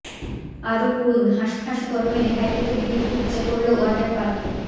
আরও পড়ুন হাঁসফাঁস গরমে রেহাই পেতে ভিড় উপচে পড়ল ওয়াটার পার্কে